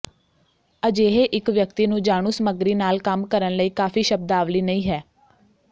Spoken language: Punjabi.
ਅਜਿਹੇ ਇੱਕ ਵਿਅਕਤੀ ਨੂੰ ਜਾਣੂ ਸਮੱਗਰੀ ਨਾਲ ਕੰਮ ਕਰਨ ਲਈ ਕਾਫ਼ੀ ਸ਼ਬਦਾਵਲੀ ਨਹੀ ਹੈ